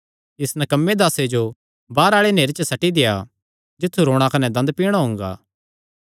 इस नकम्मे दासे जो बाहरे आल़े नेहरे च सट्टी देआ जित्थु रोणा कने दंद पिणा हुंगा